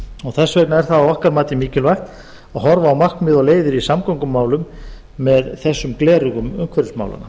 og þess vegna er það að okkar mati mikilvægt að horfa á markmið og leiðir í samgöngumálum með þessum gleraugum umhverfismálanna